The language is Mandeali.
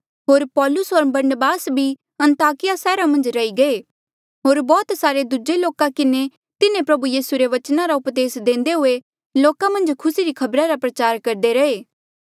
होर पौलुस होर बरनबास भी अन्ताकिया सैहरा मन्झ रही गये होर बौह्त सारे दूजे लोका किन्हें तिन्हें प्रभु यीसू रे बचना रा उपदेस देंदे हुए लोका मन्झ खुसी री खबर रा प्रचार करदे रहे